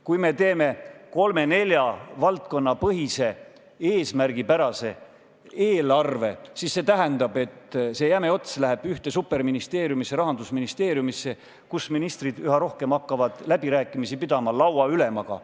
Kui me teeme kolme-nelja valdkonna põhise eesmärgipärase eelarve, siis see tähendab, et see jäme ots läheb ühte superministeeriumisse, Rahandusministeeriumisse, kus ministrid üha rohkem hakkavad pidama läbirääkimisi lauaülemaga.